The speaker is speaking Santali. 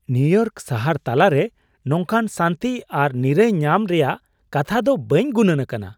ᱱᱤᱭᱩᱼᱤᱭᱚᱨᱠ ᱥᱟᱦᱟᱨ ᱛᱟᱞᱟ ᱨᱮ ᱱᱚᱝᱠᱟᱱ ᱥᱟᱹᱱᱛᱤ ᱥᱨ ᱱᱤᱨᱟᱹᱭ ᱧᱟᱢ ᱨᱮᱭᱟᱜ ᱠᱟᱛᱷᱟ ᱫᱚ ᱵᱟᱹᱧ ᱜᱩᱱᱟᱹᱱ ᱟᱠᱟᱱᱟ !